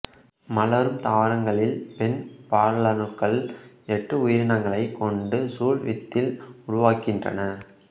மலரும் தாவரங்களில் பெண் பாலணுக்கள் எட்டு உயிரணுக்களைக் கொண்டு சூல் வித்தில் உருவாகின்றன